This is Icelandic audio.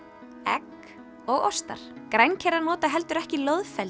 egg og ostar grænkerar nota heldur ekki